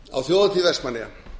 á þjóðhátíð vestmannaeyja